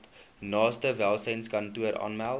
naaste welsynskantoor aanmeld